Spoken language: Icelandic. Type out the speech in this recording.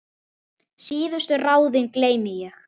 Síðustu ráðin geymi ég.